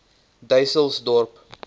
dysselsdorp